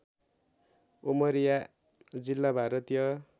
उमरिया जिल्ला भारतीय